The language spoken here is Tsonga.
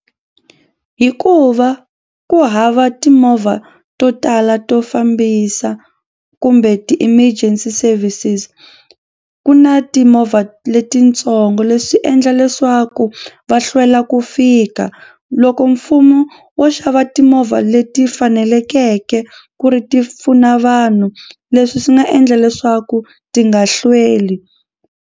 Hikuva ku hava timovha to tala to fambisa kumbe ti-emergency services ku na timovha letitsongo leswi endla leswaku swa ku va hlwela ku fika loko mfumo wo xava timovha leti fanelekeke ku ri ti pfuna vanhu leswi swi nga endla leswaku ti nga hlweli.